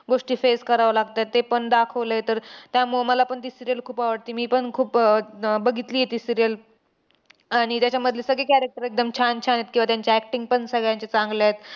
गोष्टी face करावे लागतात, तेपण दाखवलंय. तर त्यामुळे मलापण ती serial खूप आवडती. मीपण खूप अह बघितली ती serial. आणि त्याच्यामधले सगळे character एकदम छान छान आहेत किंवा त्यांची acting पण सगळ्यांची चांगल्या आहेत.